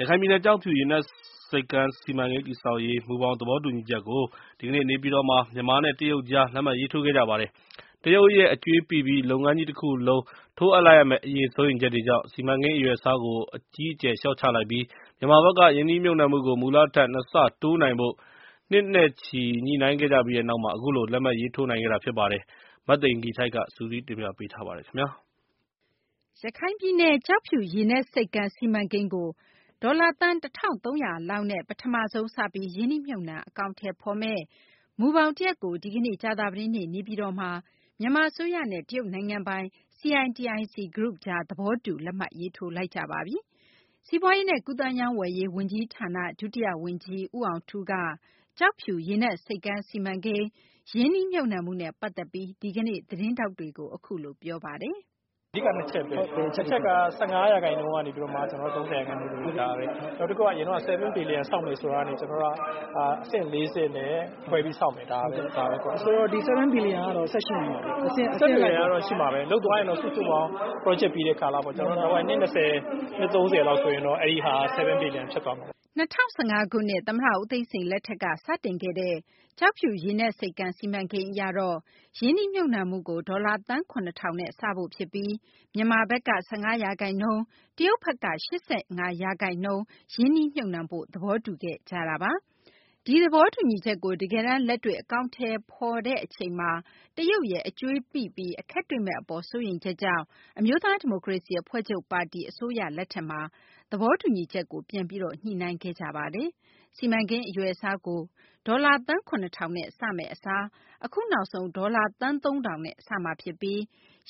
ရခိုင်ပြည်နယ် ကျောက်ဖြူ ရေနက် ဆိပ်ကမ်း စီမံကိန်း တည်ဆောက်ရေး မူဘောင် သဘောတူညီချက်ကို ဒီကနေ့ နေပြည်တော်မှာ မြန်မာနဲ့ တရုတ်ကြား လက်မှတ်ရေးထိုး ခဲ့ကြပါတယ်။ တရုတ်ရဲ့ အကြွေးပိပြီး လုပ်ငန်းကြီး တခုလုံး ထိုးအပ်လိုက်ရမယ့် အရေး စိုးရိမ်ချက်တွေကြောင့် စီမံကိန်း အရွယ်အစားကို အကြီးအကျယ် လျှော့ချလိုက်ပြီး မြန်မာဘက်က ရင်းနှီးမြှုပ်နှံမှုကို မူလထက် ၂ ဆ တိုးနိုင်ဖို့ နှစ်နဲ့ချီ ညှိနှိုင်းခဲ့ကြပြီးနောက်မှာ အခုလို လက်မှတ်ရေးထိုးနိုင်ခဲ့တာ ဖြစ်ပါတယ်။ မသိဂီ ၤထိုက် စုစည်းတင်ပြပေးထားပါတယ်။ ရခိုင်ပြည်နယ် ကျောက်ဖြူရေနက် ဆိပ်ကမ်း စီမံကိန်းကို ဒေါ်လာ သန်း ၁၃၀၀ လောက်နဲ့ ပမဆုံး စပြီး ရင်းနှီးမြှုပ်နှံ အကောင်အထည်ဖော်မယ့် မူဘောင် တရပ်ကို ဒီကနေ့ ကြာသပတေးနေ့ နေပြည်တော်မှာ မြန်မာ အစိုးရနဲ့ တရုတ်နိုင်ငံပိုင် CITIC Group ကြား သဘောတူ လက်မှတ်ရေးထိုးခဲ့ကြပါတယ်။ စီးပွားရေးနဲ့ ကူးသန်းရောင်းဝယ်ရေး ဝန်ကြီးဌာန ဒုတိယ ဝန်ကြီး ဦးအောင်ထူးက ကျောက်ဖြူ ရေနက် ဆိပ်ကမ်း စီမံကိန်း ရင်းနှီးမြှုပ်နှံမှုနဲ့ ပတ်သက်ပြီး ဒီကနေ့ သတင်းထောက်တွေကို အခုလို ပြောပါတယ်။ "အဓိက ၂ ချက်ပဲ ၁ ချက်ကတော့ ၁၅ ရာခိုင်နှုန်းကနေမှ ၃၀ ရာခိုင်နှုန်းဖြတ်တာတွေ၊ နောက်တခုကတော့ အရင်တုန်းက ၇ ဘီလီယံဆောက်မယ်ဆိုတာကနေမှ အဆင့် ၄ ဆင့်နဲ့ ခွဲပြီးဆောက်မယ် ဒါပဲ။ မေး။ ။ ဆိုတော့ ဒီ ၇ ဘီလီယံကတော့ ဆက်ရှိနေမှာပေါ့နော်။ ဖြေ။ ။ လုပ်သွားရင်တော့ စုစုပေါင်း Project ပြီးတဲ့ကာလဆိုရင်တော့ နှစ် ၂၀ ၊ ၃၀ ဆိုရင်တော့ အဲဒါက ၇ ဘီလီယံဖြစ်သွားမှာပဲ။" ၂၀၁၅ ခုနှစ် သမ္မတ ဦးသိန်းစိန် လက်ထက်က စတင်ခဲ့တဲ့ ကျောက်ဖြူရေနက်ဆိပ်ကမ်း စီမံကိန်း အရတော့ ရင်းနှီးမြှုပ်နှံမှုကို ဒေါ်လာ သန်း ၇ ထောင်နဲ့ စဖို့ ဖြစ်ပြီး မြန်မာဘက်က ၁၅ ရာခိုင်နှုန်း ရင်းနှီးမြှုပ်နှံပြီး တရုတ်ဘက်က ၈၅ ရာခိုင်နှုန်း ရင်းနှီးမြှုပ်နှံဖို့ သဘောတူခဲ့ကြတာပါ။ ဒီသဘောတူညီချက်ကို တကယ်တန်း လက်တွေ့ အကောင်အထည် ဖော်တဲ့ အချိန်မှာ တရုတ်ရဲ့ အကြွေးပိပြီး အခက်တွေ့မယ့် အပေါ် စိုးရိမ်ချက်ကြောင့် အမျိုးသား ဒီမိုကရေစီ အဖွဲ့ချုပ် ပါတီ အစိုးရလက်ထက်မှာ သဘောတူညီချက်ကို ပြန်ပြီး ညှိနှိုင်းခဲ့တာပါ။ စီမံကိန်း အရွယ်အစားကို ဒေါ်လာ သန်း ၇ ထောင်နဲ့ စမယ့် အစား အခု နောက်ဆုံး ဒေါ်လာ သန်း ၁၃၀၀ နဲ့ စမှာ ဖြစ်ပြီး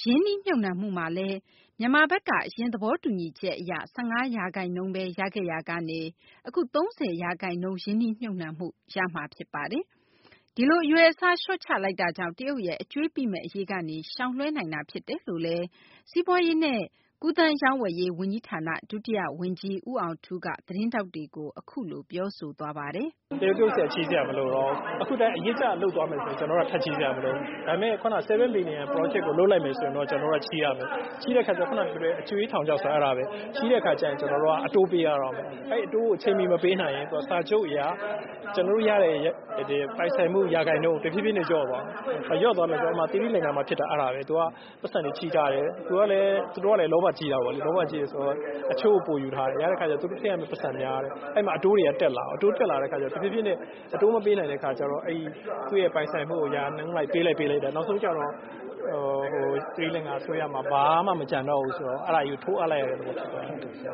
ရင်းနှီးမြှုပ်နှံမှုမှာလည်း မြန်မာဘက်က အရင် သဘောတူညီချက် အရ ၁၅ ရာခိုင်နှုန်းဘဲ ရခဲ့ရာကနေ အခု ၃၀ ရာခိုင်နှုန်း ရင်းနှီးမြှုပ်နှံမှုကို ရမှာ ဖြစ်ပါတယ်။ ဒီလို အရွယ်အစားလျှော့ချလိုက်တာကြောင့် တရုတ်ရဲ့ အကြွေးပိမယ့် အရေးကနေ ရှောင်လွှဲနိုင်တာ ဖြစ်တယ်လို့လည်း စီးပွားရေးနဲ့ ကူးသန်းရောင်းဝယ်ရေး ဝန်ကြီးဌာန ဒုတိယ ဝန်ကြီး ဦးအောင်ထူးက သတင်းထောက်တွေကို ပြောဆိုသွားပါတယ်။ "အခုလည်း အရစ်ကျလုပ်သွားမယ်ဆိုရင် ကျနော်တို့ထပ်ချေးစရာမလိုဘူး။ ဒီ ၇ ဘီလီယံ project ကိုလုပ်လိုက်မယ်ဆိုရင်တော့ ကျနော်တို့က ချေးရမယ် ချေးတဲ့အခါမှာ အကြွေးထောင်ချောက်ဆိုတာအဲဒါပဲ အတိုးပေးရမယ် အဲဒီအတိုးကို အချိန်မှီမပေးနိုင်ရင် စာချုပ်အရ ကျနော်တို့ရတဲ့ ပိုင်ဆိုင်မှုရာခိုင်နှုန်း တဖြေးဖြေးလျော့သွားမယ် ။ sri lanka မှာဖြစ်တာ အဲဒါပဲ သူက ပိုက်ဆံတွေချေးထားတယ်။ သူတို့ကလည်း လောဘကြီးတာကို လောဘကြီးတဲ့အခါကျတော့ အချို့အပိုကိုယူထားတယ် ထည့်ရမယ့်ပိုက်ဆံများတယ်။ အဲဒီမှာ အတိုးတွေက တက်လာရော တက်လာတဲ့အခါတော့ တဖြေးဖြေးနဲ့ အတိုးမပေးနိုင်တဲ့အခါကျတော့ အဲဒီသူ့ပိုင်ဆိုင်မှုကို ရာခိုင်နှုန်းနဲ့ ပေးလိုက်တာ နောက်ဆုံးကျတော့ sri lanka အစိုးရမှာ ဘာမှ မကျန်တော့ဘူးဆိုတော့ အဲဒါကို ထိုးအပ်လိုက်ရတဲ့အဆင့်ဖြစ်သွားတယ်။"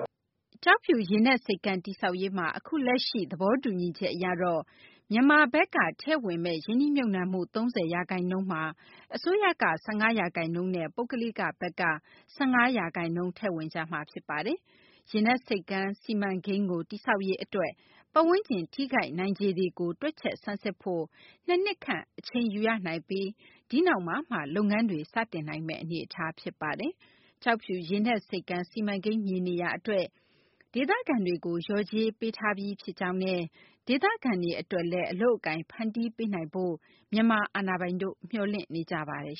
ကျောက်ဖြူ ရေနက် စီမံကိန်း တည်ဆောက်ရေးမှာ အခုလက်ရှိ သဘောတူညီချက် အရတော့ မြန်မာဘက်က ထည့်ဝင်မယ့် ရင်းနှီးမြှုပ်နှံမှု ၃၀ ရာခိုင်နှုန်းမှာ အစိုးရက ၁၅ ရာခိုင်နှုန်းနဲ့ ပုဂ္ဂလိကဘက်က ၁၅ ရာခိုင်နှုန်း ထည့်ဝင်ကြမှာ ဖြစ်ပါတယ်။ ရေနက် စီမံကိန်းကို တည်ဆောက်ရေး အတွက် ပတ်ဝန်းကျင် ထိခိုက်နိုင်ခြေတွေကို တွက်ချက်ဆန်းစစ်ဖို့ ၂ နှစ်ခန့် အချိန်ယူရနိုင်ပြီး ဒီနောက်မှာမှ လုပ်ငန်းတွေ စတင်နိုင်မယ့် အနေအထား ဖြစ်ပါတယ်။ ကျောက်ဖြူရေနက် ဆိပ်ကမ်း စီမံကိန်း မြေနေရာ အတွက် ဒေသခံတွေကို လျော်ကြေးပေးထားပြီး ဖြစ်ကြောင်းနဲ့ ဒေသခံတွေ အတွက် အလုပ်အကိုင် ဖန်တီးပေးနိုင်ဖို့လည်း မြန်မာ အာဏာပိုင်တို့ မျှော်လင့်နေကြပါတယ်